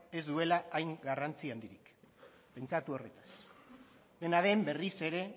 ez duela hain garrantzi handirik pentsatu horretaz dena den berriz ere